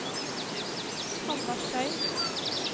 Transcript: Hanna Schei